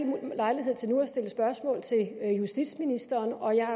lejlighed til nu at stille spørgsmål til justitsministeren og jeg er